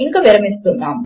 ఇంక విరమిస్తున్నాను